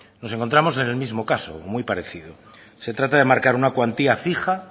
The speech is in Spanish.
nos encontramos en el mismo caso o muy parecido se trata de marcar una cuantía fija